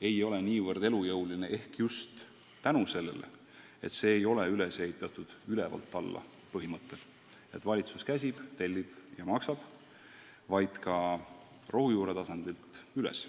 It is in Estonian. ei ole nii elujõuline just tänu sellele, et see ei ole üles ehitatud "ülevalt alla" põhimõttel – valitsus käsib, tellib ja maksab –, vaid rohujuure tasandilt üles.